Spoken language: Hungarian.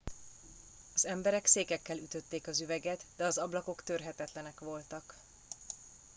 az emberek székekkel ütötték az üveget de az ablakok törhetetlenek voltak